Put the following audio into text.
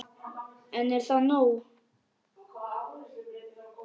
En er það nóg?